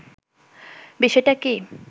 বিষয়টা কি